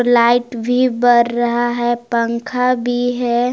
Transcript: Light भी बर रहा है पंखा भी है।